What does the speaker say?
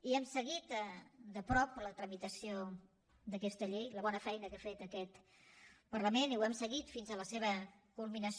i hem seguit de prop la tramitació d’aquesta llei la bona feina que ha fet aquest parlament i l’hem seguit fins a la seva culminació